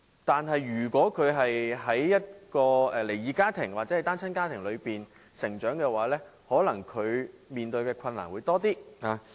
但是，如果他們在離異家庭或單親家庭成長，便可能要面對比較多的困難。